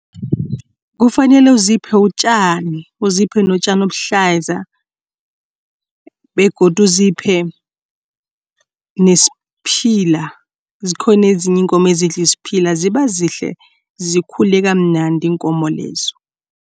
Kufanele uziphe utjani, uziphe notjani obuhlaza begodu uziphe nesiphila. Zikhona ezinye iinkomo ezidla isiphila ziba zihle, zikhule kamnandi iinkomo lezo.